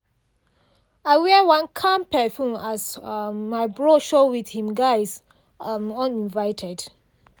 i wear one calm perfume as um my bro show with him guys um uninvited.